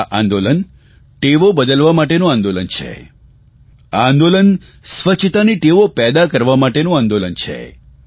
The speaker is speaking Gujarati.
આ આંદોલન ટેવો બદલવા માટેનું આંદોલન છે આ આંદોલન સ્વચ્છતાની ટેવો પેદા કરવા માટેનું આંદોલન છે